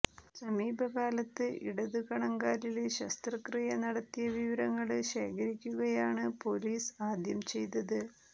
സമീപകാലത്ത് ഇടതു കണങ്കാലില് ശസ്ത്രക്രിയ നടത്തിയ വിവരങ്ങള് ശേഖരിക്കുകയാണ് പോലീസ് ആദ്യം ചെയ്തത്